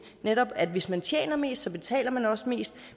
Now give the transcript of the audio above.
netop at hvis man tjener mest betaler man også mest